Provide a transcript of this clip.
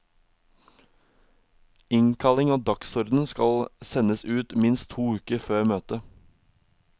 Innkalling og dagsorden skal sendes ut minst to uker før møtet.